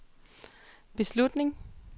beslutning